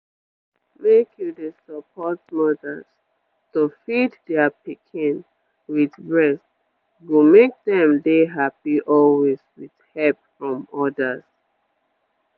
make you dey support mothers to feed their pikin with breast go make dem dey happy always with help from others